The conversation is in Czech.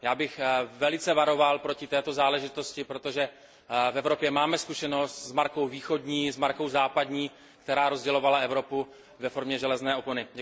Já bych velice varoval proti této záležitosti, protože v Evropě máme zkušenost s markou východní a s markou západní, která rozdělovala Evropu ve formě železné opony.